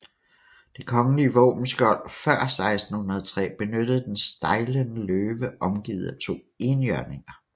Det kongelige våbenskjold før 1603 benyttede den stejlende løve omgivet af to enhjørninger